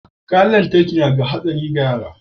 kayan lantarki nada hatsari ga yara